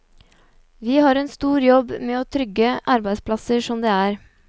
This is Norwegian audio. Vi har en stor jobb med å trygge arbeidsplasser som det er.